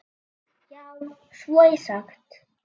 Já, svo er sagt.